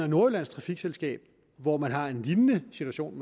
nordjyllands trafikselskab hvor man har en lignende situation